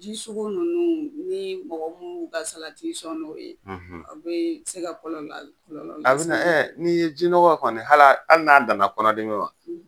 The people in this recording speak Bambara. Ji sugu ninnu ni mɔgɔ mun n'u ka salati sɔn n'o ye, , a bɛ se ka kɔlɔlɔ la kɔlɔlɔ lase, o a bɛna , ni ye jinɔgɔ an n'a dan na kɔnɔdimi ma.